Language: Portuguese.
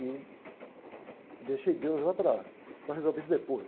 E deixei Deus lá para, para resolver isso depois.